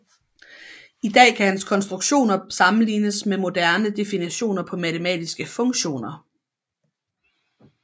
I dag kan hans konstruktioner sammenlignes med moderne definitioner på matematiske funktioner